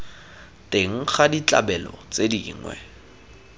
teng ga ditlabelo tse dingwe